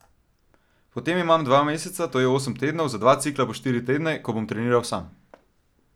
Potem imam dva meseca, to je osem tednov, za dva cikla po štiri tedne, ko bom treniral sam.